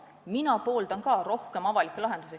Mina pooldan rohkem avalikke lahendusi.